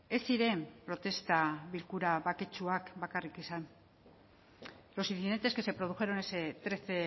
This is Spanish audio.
ez ziren protesta bilkura baketsuak bakarrik izan los incidentes que se produjeron ese trece